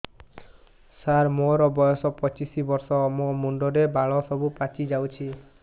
ସାର ମୋର ବୟସ ପଚିଶି ବର୍ଷ ମୋ ମୁଣ୍ଡରେ ବାଳ ସବୁ ପାଚି ଯାଉଛି